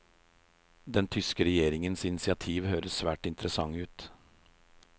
Den tyske regjeringens initiativ høres svært interessant ut.